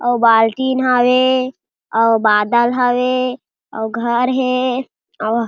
अउ बाल्टिन हवे अउ बादर हवे अउ घर हे अउ--